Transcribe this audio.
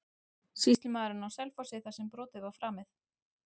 Sýslumaðurinn á Selfossi þar sem brotið var framið?